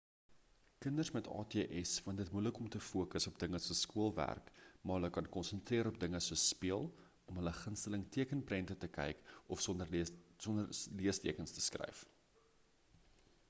kinders met ats vind dit moeilik om te fokus op dinge soos skoolwerk maar hulle kan konsentreer op dinge soos speel om hul gunsteling tekenprente te kyk of sinne sonder leestekens te skryf